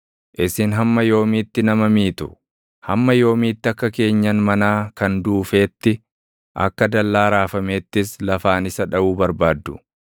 Isin hamma yoomiitti nama miitu? Hamma yoomiitti akka keenyan manaa kan duufeetti, akka dallaa raafameettis lafaan isa dhaʼuu barbaaddu?